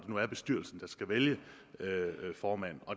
nu er bestyrelsen der skal vælge formand